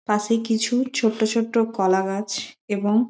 পাশে কিছু ছোট ছোট কলা গাছ এবং--